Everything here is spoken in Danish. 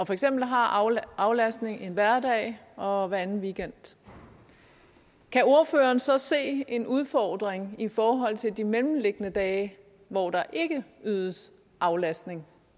for eksempel har aflastning en hverdag og hver anden weekend kan ordføreren så se en udfordring i forhold til de mellemliggende dage hvor der ikke ydes aflastning